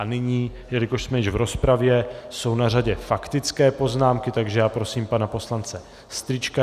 A nyní, jelikož jsme již v rozpravě, jsou na řadě faktické poznámky, takže já prosím pana poslance Strýčka.